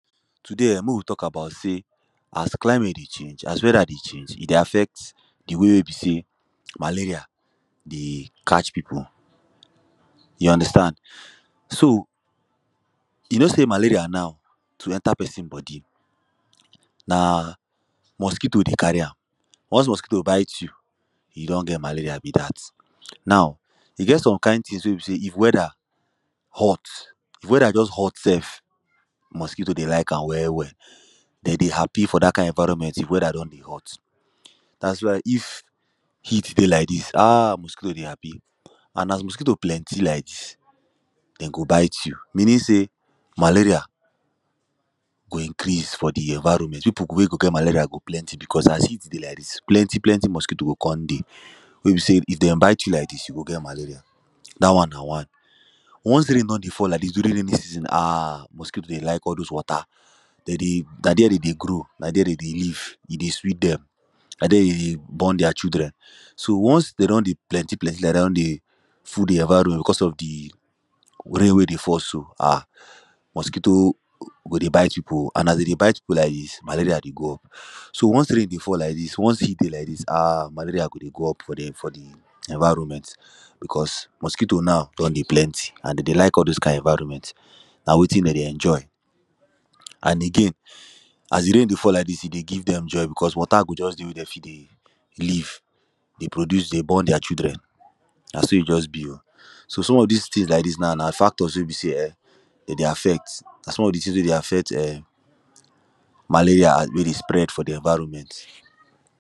Today, mek we talk about say, as climate dey change, as weather dey change, e dey affect the way wey be say malaria dey catch people. You understand? So, you know say malaria now, to enter person body na mosquito dey carry am. Once mosquito bite you, you don get malaria be dat. Now, e get some kind things wey be say if weather hot, if weather just hot sef, mosquito dey lak am well, well. Them dey happy for dat kind environment, if weather don dey hot. Dat is why if heat dey lak dis, um! mosquito dey happy. And as mosquito plenty lak dis, e go bite you, meaning say malaria go increase for the environment, wey people wey go get malaria go plenty, because as heat dey lak dis, plenty, plenty mosquito go come dey. wey be say if them bite you lak dis, you go get malaria. Dat one na one Once rain don dey fall lak dis, during raining season, um mosquito dey lak all those water. they dey, na there they dey grow, na there they dey live. E dey sweet them. na there them dey born their children. So, once them don dey plenty, plenty lak dat, them no dey full the environment because say rain wey dey fall so, ah! mosquito wey dey bite people, and as them dey bite people lak dis, malaria dey go. So, once rain dey fall lak dis, once heat dey lak dis, um! malaria go dey go up for the... for the environment. because, mosquito now don dey plenty and them dey lak those kind environment. na wetin them dey enjoy. And again, as the rain dey fall lak dis, e dey give them joy because water go just dey wey they fit dey live, reproduce, dey born their children, na so e just be o. So, some of these things lak dis now na factors wey be say, um, them dey affect, na some of de tins wey dey affect, um, malaria wey dey spread for de environment.